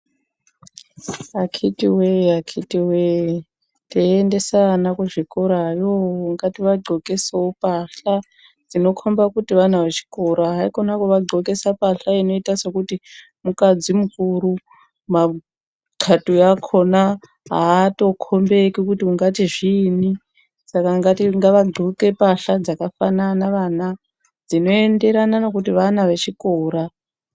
Akiti we akiti wee teyiendesa ana kuzvikora yo ngati vadxokesewo mbatya dzinokomba kuti vana vechikora haikona vava dxokesa mbahla inoita sekuti mukadzi mukuru matxatuya akona hato kombelimbi kuti zviinyi sakan gava vadxoke zvakaafana vana zvinokomba kutu vana vechikora.